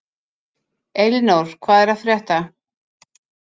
Elinór, hvað er að frétta?